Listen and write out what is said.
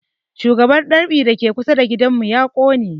Shagon dab'i da ke kusa da gidan mu ya ƙone